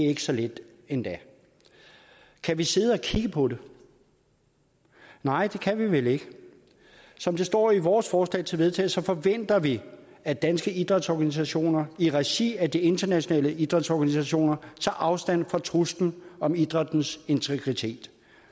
ikke så lidt endda kan vi sidde og kigge på det nej det kan vi vel ikke som det står i vores forslag til vedtagelse forventer vi at danske idrætsorganisationer i regi af de internationale idrætsorganisationer tager afstand fra truslen mod idrættens integritet